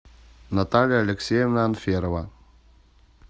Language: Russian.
наталья алексеевна анферова